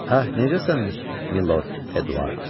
Ah, necəsən, Milord Eduard?